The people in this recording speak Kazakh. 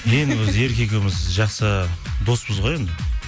мен өзі ерке екеуіміз жақсы доспыз ғой енді